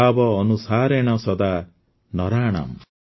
ଭାବ ଅନୁସାରେଣ ସଦା ନରାଣାମ୍